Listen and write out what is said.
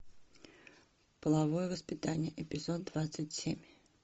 половое воспитание эпизод двадцать семь